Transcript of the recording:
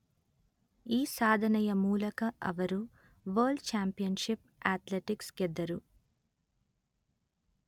ಈ ಸಾಧನೆಯ ಮೂಲಕ ಅವರು ವರ್ಲ್ಡ್ ಚ್ಯಾಂಪಿಯನ್ಷಿಪ್ ಅಥ್ಲೆಟಿಕ್ಸ್ ಗೆದ್ದರು